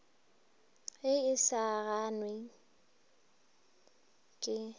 ge e sa gangwe ke